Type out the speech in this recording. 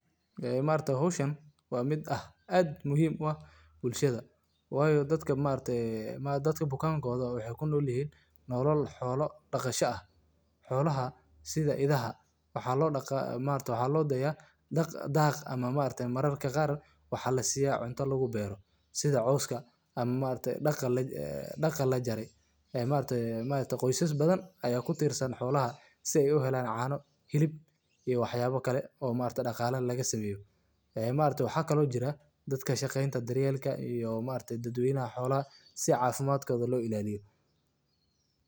Idaha waa xoolo aad muhiim ugu ah dhaqanka iyo nolosha dadka Soomaaliyeed, gaar ahaan beeralayda iyo reer guuraaga. Marka idaha la daaqo, waxay ku qulqulayaan dhul baaxad leh oo ka kooban caws, caleemo, iyo dhir kale oo dabiici ah, taas oo ah ilaha ugu muhiimsan ee ay ka helaan nafaqo. Daaqida idaha waa geedi socod joogto ah oo u baahan in si taxadar leh.